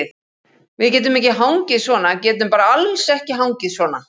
Við getum ekki hangið svona, getum bara alls ekki hangið svona.